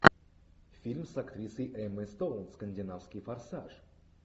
фильм с актрисой эммой стоун скандинавский форсаж